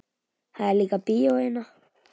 Það er líka bíó hérna.